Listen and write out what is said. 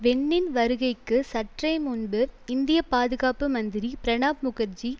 வென்னின் வருகைக்கு சற்றே முன்பு இந்திய பாதுகாப்பு மந்திரி பிரணாப் முகர்ஜி